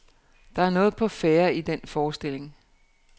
Der er noget på færde i den forestilling.